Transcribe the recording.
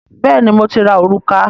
Bẹ́ẹ̀ni, mo ti ra òrùka